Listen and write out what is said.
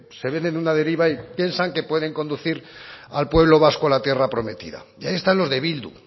se ven en una deriva y piensan que pueden conducir al pueblo vasco a la tierra prometida y ahí están los de bildu